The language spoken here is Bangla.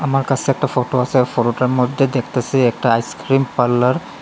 আমার কাসে একটা ফটো আসে আর ফটোটার মদ্যে দেখতাসি একটা আইস্ক্রিম পাল্লার ।